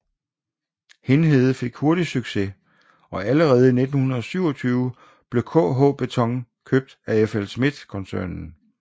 Hindhede fik hurtigt succes og allerede i 1927 blev KH Beton købt af FLSmidth koncernen